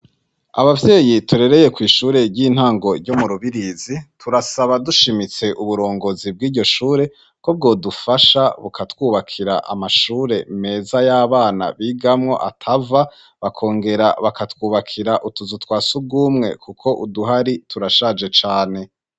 Abavyeyi turereye kw'ishure ry'intango ryo mu Rubirizi turasaba dushimitse uburongozi bw'iryo shure ko bwo dufasha bukatwubakira amashure meza y'abana bigamwo atava bakongera bakatwubakira utuzu twasugumwe kuko uduhari turashaje cane.